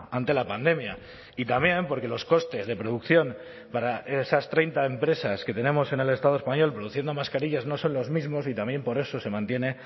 ante la pandemia y también porque los costes de producción para esas treinta empresas que tenemos en el estado español produciendo mascarillas no son los mismos y también por eso se mantiene